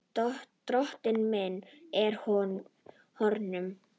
Dóttir mín er horfin.